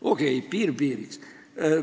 Okei, piir piiriks.